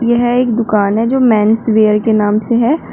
यह एक दुकान है जो मेन्स वियर के नाम से है।